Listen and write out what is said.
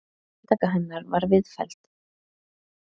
Handtak hennar var viðfelldið.